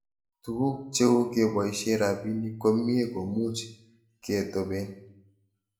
Tuguk cheu kepoishe rabinik komie ko much ketopen